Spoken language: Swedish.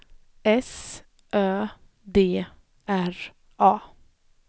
S Ö D R A